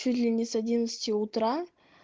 чуть ли не с одиннадцати утра